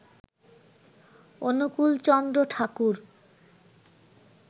Anukulchandra Thakur